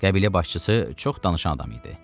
Qəbilə başçısı çox danışan adam idi.